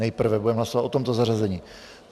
Nejprve budeme hlasovat o tomto zařazení.